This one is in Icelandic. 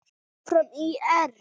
Áfram ÍR!